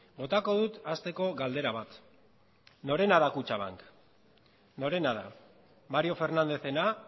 botako dut hasteko galdera bat norena da kutxabank norena da mario fernándezena